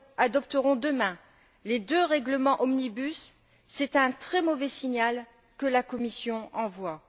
adopterons, demain, les deux règlements omnibus, c'est un très mauvais signal que la Commission envoie.